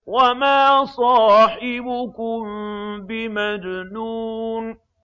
وَمَا صَاحِبُكُم بِمَجْنُونٍ